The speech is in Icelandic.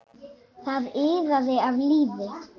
Það iðaði af lífi.